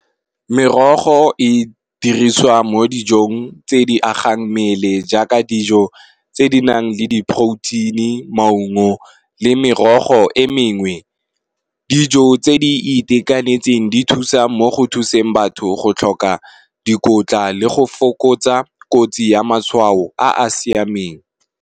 Merogo e dirisiwa mo dijong tse di agang mmele jaaka dijo tse di nang le di protein maungo le merogo e mengwe, dijo tse di itekanetseng di thusa mo go thuseng batho go tlhoka dikotla le go fokotsa kotsi ya matshwao a a siameng.